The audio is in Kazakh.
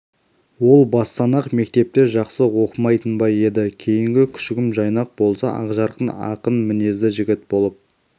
ол бастан-ақ мектепте жақсы оқымайтын ба еді кейінгі күшігім жайнақ болса ақжарқын ақын мінезді жігіт болып